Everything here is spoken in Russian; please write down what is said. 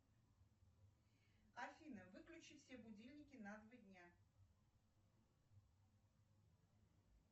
афина выключи все будильники на два дня